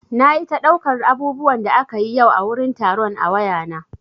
Nayi ta ɗaukar abubuwan da akayi yau a wurin taron a wayana.